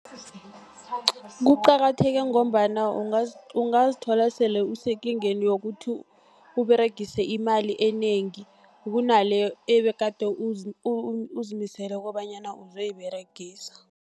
Kuqakatheke ngombana ungazithola sele usekingeni yokuthi, uberegise imali enengi kunaleyo ebegade uzimisele kobanyana uzoyiberegisa.